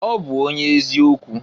Ọ bụ onye eziokwu.